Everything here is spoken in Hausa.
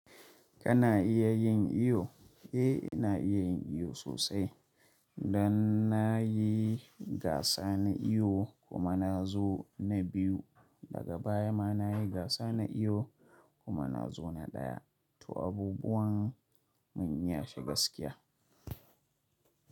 Kana iya yin iwo? Eh na iya yin iwo sosai. Dan na yi gasa na iwo kuma na zo na biyu, daga baya ma na yi gasa na iwo kuma na zo na ɗaya. To abubuwan mun iya shi gaskiya.